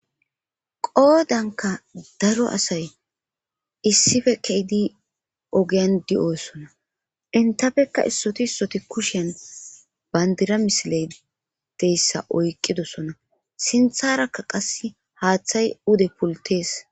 Goodanka daro asay issife keydi ogean di'osona intafekka issoti issoti kushen bandira misiledeyssa oykqidosona sintharakka qas haaththay ude pultees.